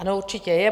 Ano, určitě je.